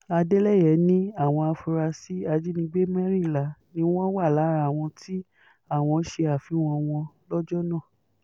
adeleye ní àwọn afurasí ajínigbé mẹ́rìnlá ni wọ́n wà lára àwọn tí àwọn ṣe àfihàn wọn lọ́jọ́ náà